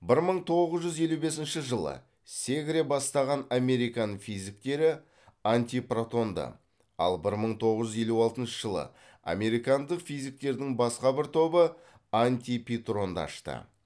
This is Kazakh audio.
бір мың тоғыз жүз елу бесінші жылы сегре бастаган американ физиктері антипротонды ал бір мың тоғыз жүз елу алтыншы жылы американдық физиктердің басқа бір тобы антипейтронды ашты